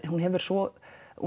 hún hefur svo í